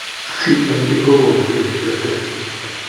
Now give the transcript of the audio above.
CMD kogonu genes che terterchin